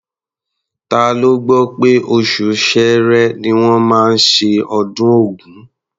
Ta ló gbọ́ pé oṣù Ṣẹẹrẹ ni wọ́n máa ṣe ọdún Ògún?